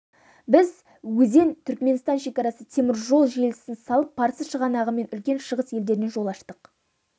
біз өзен түркіменстан шекарасы темір жол желісін салып парсы шығанағы мен үлкен шығыс елдеріне жол аштық